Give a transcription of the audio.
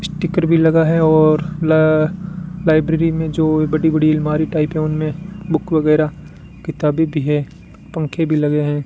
Sticker भी लगा है और ला लाइब्रेरी में जो बड़ी बड़ी अलमारी टाइप हैं उनमें बुक वगैरा किताबें भी है पंखे भी लगे हैं।